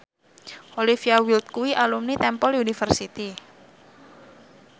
Olivia Wilde kuwi alumni Temple University